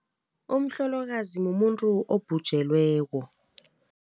Umhlolokazi mumuntu obhutjelweko.